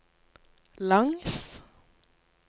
langs